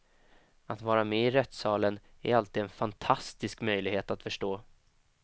Att vara med i rättssalen är alltid en fantastisk möjlighet att förstå.